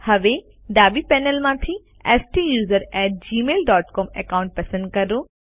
હવે ડાબી પેનલમાંથી STUSERONEgmail ડોટ સીઓએમ એકાઉન્ટ પસંદ કરો